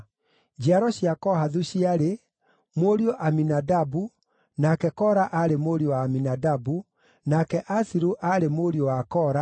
Njiaro cia Kohathu ciarĩ: mũriũ Aminadabu, nake Kora aarĩ mũriũ wa Aminadabu, nake Asiru aarĩ mũriũ wa Kora,